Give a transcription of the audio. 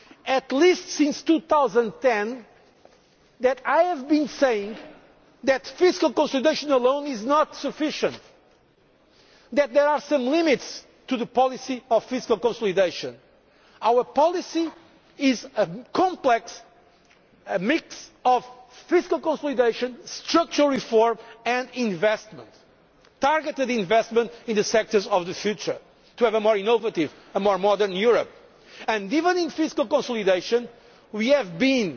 caricature to present European policy just as fiscal consolidation. At least since 2010 I have been saying that fiscal consolidation alone is not sufficient, that there are some limits to the policy of fiscal consolidation. Our policy is a complex mix of fiscal consolidation, structural reform and investment targeted investment in the sectors of the future, to have a more innovative,